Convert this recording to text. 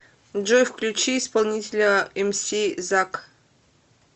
джой включи исполнителя эмси зак